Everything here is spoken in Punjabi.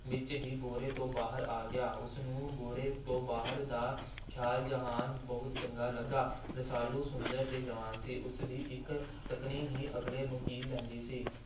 ਵਿੱਚ ਹੀ ਭੋਰੇ ਤੋਂ ਬਾਹਰ ਆ ਗਿਆ। ਉਸ ਨੂੰ ਭੋਰੇ ਤੋਂ ਬਾਹਰ ਦਾ ਖੁੱਲ੍ਹਾ ਜਹਾਨ ਬਹੁਤ ਚੰਗਾ ਲੱਗਾ। ਰਸਾਲੂ ਸੁੰਦਰ ਤੇ ਜਵਾਨ ਸੀ। ਉਸ ਦੀ ਇਕ ਤੱਕਣੀ ਹੀ ਅਗਲੇ ਨੂੰ ਕੀਲ ਲੈਂਦੀ ਸੀ।